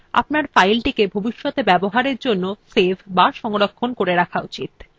document লেখা শেষ হলে আপনার ফাইলটিকে ভবিষ্যতে ব্যবহারের জন্য save বা সংরক্ষণ করা উচিত